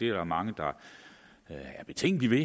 er mange der er betænkelige